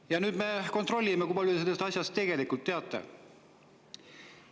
Ja nüüd me kontrollime, kui palju te sellest asjast tegelikult teate.